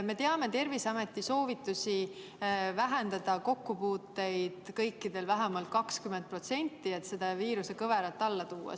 Me teame Terviseameti soovitusi vähendada kokkupuuteid vähemalt 20%, et viirusekõverat alla tuua.